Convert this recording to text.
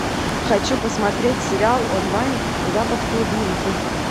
хочу посмотреть сериал онлайн запах клубники